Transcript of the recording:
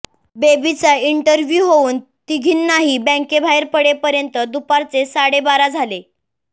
बेबीचा interview होऊन तिघींनाही बॅंकेबाहेर पडेपर्यंत दुपारचे साडेबारा झाले